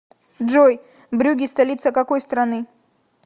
джой брюгге столица какой страны